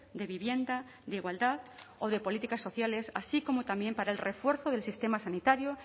de vivienda de igualdad o de políticas sociales así como también para el refuerzo del sistema sanitario